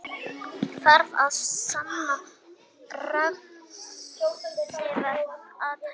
Þarf að sanna refsivert athæfi